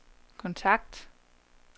kontakt